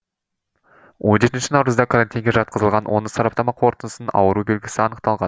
он жетінші наурызда карантинге жатқызылған оның сараптама қорытындысынан ауру белгісі анықталған